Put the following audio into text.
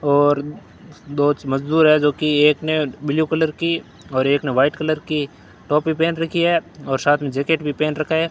और दो मजदूर है जो कि एक ने ब्लू कलर की और एक ने व्हाइट कलर की टोपी पहन रखी है और साथ में जैकेट भी पहन रखा है।